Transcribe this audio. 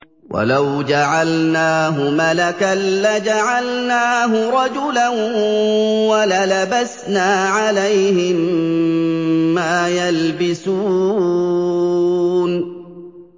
وَلَوْ جَعَلْنَاهُ مَلَكًا لَّجَعَلْنَاهُ رَجُلًا وَلَلَبَسْنَا عَلَيْهِم مَّا يَلْبِسُونَ